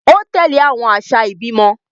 O tẹle awọn aṣa ibimọ